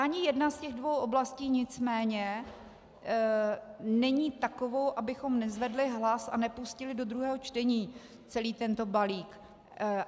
Ani jedna z těch dvou oblastí nicméně není takovou, abychom nezvedli hlas a nepustili do druhého čtení celý tento balík.